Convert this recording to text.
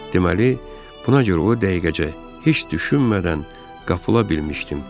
Deməli, buna görə o dəqiqəcə heç düşünmədən qapıla bilmişdim.